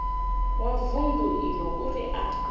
wa vundu iḽo uri a